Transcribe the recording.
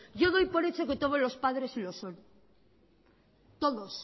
yo doy por hecho que todos los padres lo son todos